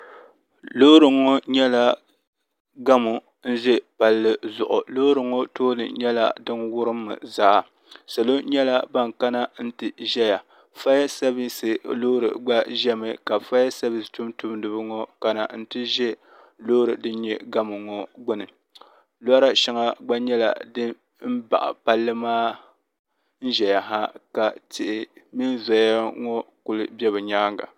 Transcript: Loori ŋɔ nyɛla gamu nzɛ palli zuɣu loori ŋɔ tooni nyɛla dini wurim zaa salo nyɛla bini kana nti zɛya faya savisi loori gba zɛmi ka faya savisi tuntumdiba ŋɔ kana nti zɛ loori dini nyɛ gamu ŋɔ gbuni lɔra shɛŋa gba nyɛla dini baɣi palli maa nzɛya ha ka tihi mini zoya ŋɔ kuli bɛ bi yɛanga.